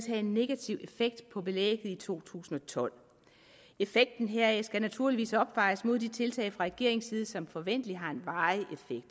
have en negativ effekt på belægget i to tusind og tolv effekten heraf skal naturligvis opvejes mod de tiltag fra regeringens side som forventeligt har en varig